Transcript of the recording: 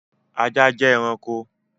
Ajá jẹ́ ẹranko t